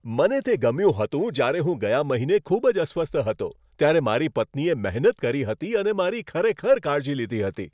મને તે ગમ્યું હતું જ્યારે હું ગયા મહિને ખૂબ જ અસ્વસ્થ હતો ત્યારે મારી પત્નીએ મહેનત કરી હતી અને મારી ખરેખર કાળજી લીધી હતી.